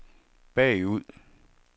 bagud